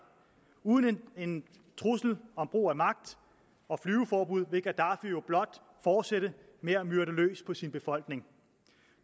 uden en trussel om brug af magt og flyveforbud vil gaddafi jo blot fortsætte med at myrde løs på sin befolkning